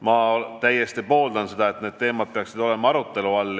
Ma vägagi pooldan seda, et need teemad on arutelu all.